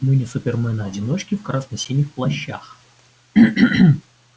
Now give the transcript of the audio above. мы не супермены-одиночки в красно-синих плащах